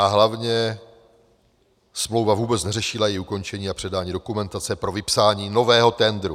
A hlavně smlouva vůbec neřešila její ukončení a předání dokumentace pro vypsání nového tendru.